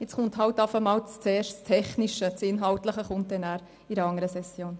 Nun kommt zuerst das Technische zur Sprache, und das Inhaltliche folgt in einer anderen Session.